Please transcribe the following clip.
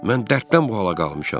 Mən dərddən bu hala qalmışam.